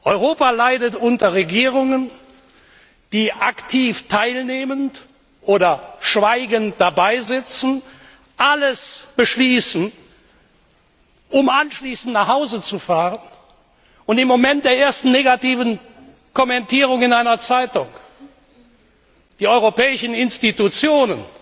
Europa leidet unter Regierungen, die aktiv teilnehmend oder schweigend dabeisitzen alles beschließen, um anschließend nach Hause zu fahren und im Moment der ersten negativen Kommentierung in einer Zeitung die europäischen Institutionen